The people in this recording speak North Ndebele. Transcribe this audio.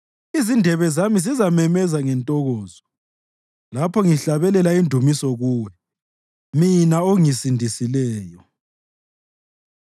Izindebe zami zizamemeza ngentokozo lapho ngihlabelela indumiso kuwe mina ongisindisileyo.